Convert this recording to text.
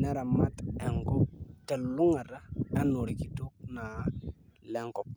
neramat enkop telulungata enaa orkitok naa lenkop.